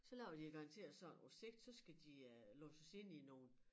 Så laver de jo garanteret sådan på sigt så skal de øh låses inde i nogle